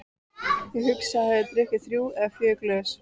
Ég hugsa að ég hafi drukkið þrjú eða fjögur glös.